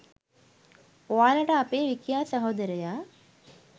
ඔයාලට අපේ විකියා සහෝදරයා